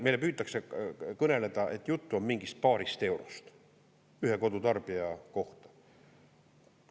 Meile püütakse kõneleda, et jutt on mingist paarist eurost ühe kodutarbija kohta.